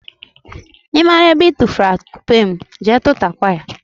ị mara ebe I tufuru atụpe m, jee tụtakwa ya!